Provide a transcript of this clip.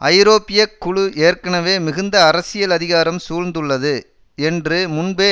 ஐரோப்பிய குழு ஏற்கனவே மிகுந்த அரசியல் அதிகாரம் சூழ்ந்துள்ளது என்று முன்பே